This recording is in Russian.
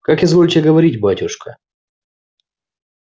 как изволите говорить батюшка